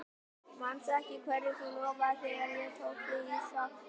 Manstu ekki hverju þú lofaðir þegar ég tók þig í sátt aftur?